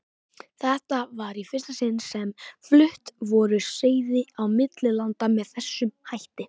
Þetta var í fyrsta sinni sem flutt voru seiði á milli landa með þessum hætti.